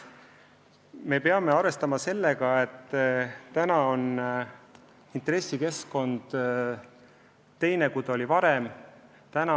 Me peame arvestama sellega, et intressikeskkond on praegu teistsugune kui varem.